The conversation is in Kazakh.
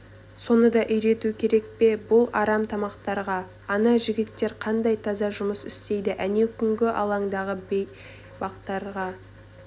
соны да үйрету керек пе бұл арам тамақтарға ана жігіттер қандай таза жұмыс істейді әнеукүні алаңдағы бейбастақтарды